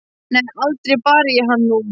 Nei, aldrei bar ég hann nú.